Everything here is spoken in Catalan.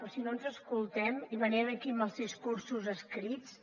però si no ens escoltem i venim aquí amb els discursos escrits